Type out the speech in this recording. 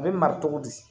A bɛ mara cogo di